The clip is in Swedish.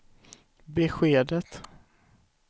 beskedet